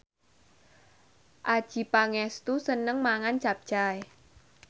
Adjie Pangestu seneng mangan capcay